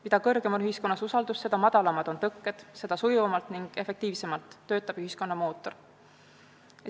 Mida suurem on ühiskonnas usaldus, seda madalamad on tõkked, seda sujuvamalt ning efektiivsemalt töötab ühiskonna mootor.